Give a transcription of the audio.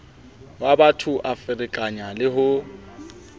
wabatho a ferekana le ho